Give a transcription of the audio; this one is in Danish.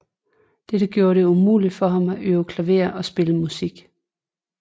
Dette gjorde det umuligt for ham at øve klaver og spille musik